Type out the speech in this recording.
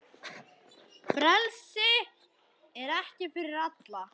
Frelsi er ekki fyrir alla.